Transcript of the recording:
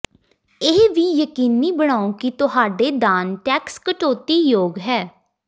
ਇਹ ਵੀ ਯਕੀਨੀ ਬਣਾਓ ਕਿ ਤੁਹਾਡੇ ਦਾਨ ਟੈਕਸ ਕਟੌਤੀਯੋਗ ਹੈ